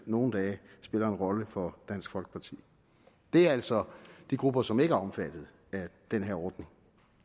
nogle dage spiller en rolle for dansk folkeparti det er altså de grupper som ikke er omfattet af den her ordning